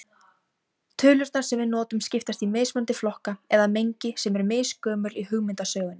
Tölurnar sem við notum skiptast í mismunandi flokka eða mengi sem eru misgömul í hugmyndasögunni.